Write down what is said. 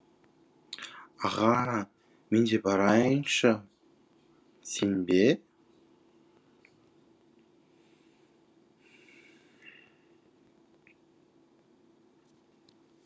аға мен де барайыншы сен бе